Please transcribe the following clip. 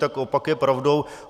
Tak opak je pravdou.